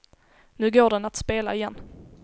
Nu går den att spela igen.